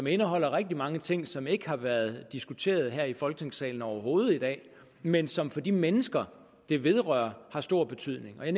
indeholder rigtig mange ting som ikke har været diskuteret her i folketingssalen overhovedet i dag men som for de mennesker det vedrører har stor betydning jeg